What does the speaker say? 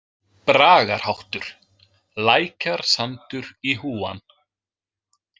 Bragarháttur: „Lækjarsandur í Húan“.